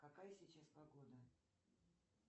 какая сейчас погода